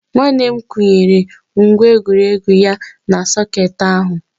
Nwanne m kwụnyere ngwa egwuregwu ya na sọkeetị ahụ